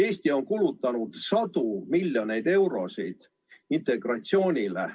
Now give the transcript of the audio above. Eesti on kulutanud sadu miljoneid eurosid integratsioonile.